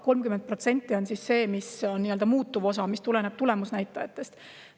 30% on siis see nii-öelda muutuv osa, mis tuleneb tulemusnäitajatest.